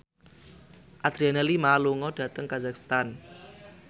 Adriana Lima lunga dhateng kazakhstan